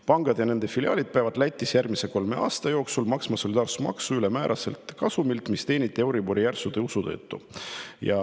Pangad ja nende filiaalid peavad Lätis järgmise kolme aasta jooksul maksma solidaarsusmaksu ülemääraselt kasumilt, mis teeniti euribori järsu tõusu tõttu.